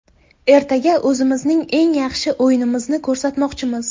Ertaga o‘zimizning eng yaxshi o‘yinimizni ko‘rsatmoqchimiz.